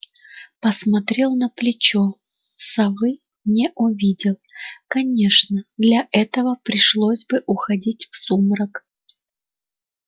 посмотрел на плечо совы не увидел конечно для этого пришлось бы уходить в сумрак